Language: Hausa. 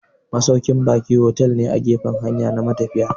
Masaukin ba'i fotel ne a gefan hanya na matafiya